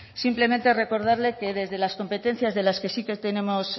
simplemente recordarle que desde las competencias de las que sí tenemos